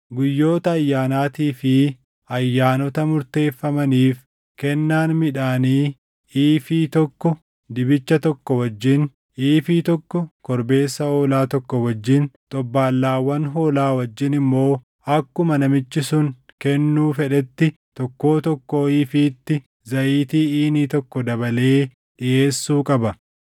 “ ‘Guyyoota ayyaanaatii fi ayyaanota murteeffamaniif, kennaan midhaanii iifii tokko dibicha tokko wajjin, iifii tokko korbeessa hoolaa tokko wajjin, xobbaallaawwan hoolaa wajjin immoo akkuma namichi sun kennuu fedhetti tokkoo tokkoo iifiitti zayitii iinii tokko dabalee dhiʼeessuu qaba.